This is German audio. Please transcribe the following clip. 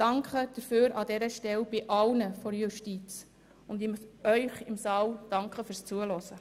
Ich danke der Justiz dafür und ich bedanke mich bei den Anwesenden im Saal fürs Zuhören.